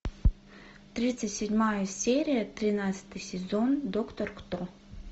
тридцать седьмая серия тринадцатый сезон доктор кто